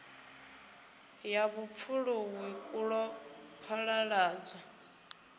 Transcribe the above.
ya vhupfuluwi ku ḓo phaḓaladzwa